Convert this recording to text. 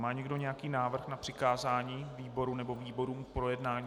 Má někdo nějaký návrh na přikázání výboru nebo výborům k projednání?